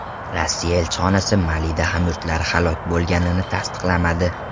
Rossiya elchixonasi Malida hamyurtlari halok bo‘lganini tasdiqlamadi .